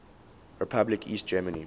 republic east germany